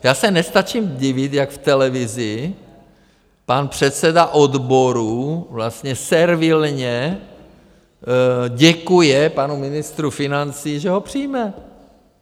Já se nestačím divit, jak v televizi pan předseda odborů vlastně servilně děkuje panu ministru financí, že ho přijme.